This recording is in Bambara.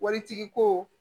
Waritigi ko